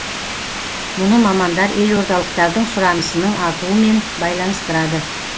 мұны мамандар елордалықтардың сұранысының артуымен байланыстырады